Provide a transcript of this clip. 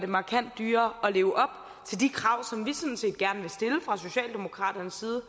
markant dyrere at leve op til de krav som vi fra socialdemokraternes side